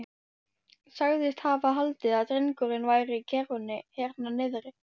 Sagðist hafa haldið að drengurinn væri í kerrunni hérna niðri.